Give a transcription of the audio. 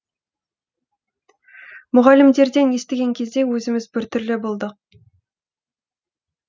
мұғалімдерден естіген кезде өзіміз біртүрлі болдық